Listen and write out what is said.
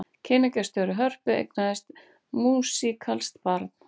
Kynningarstjóri Hörpu eignaðist músíkalskt barn